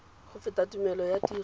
go fetola tumelelo ya tiro